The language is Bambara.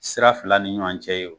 Sira fila ni ɲɔgɔn cɛ ye o,